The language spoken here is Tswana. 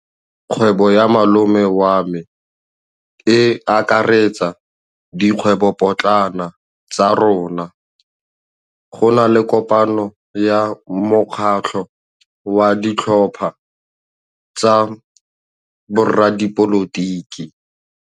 Kgwêbô ya malome wa me e akaretsa dikgwêbôpotlana tsa rona. Go na le kopanô ya mokgatlhô wa ditlhopha tsa boradipolotiki.